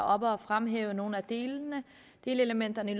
oppe at fremhæve nogle af delelementerne i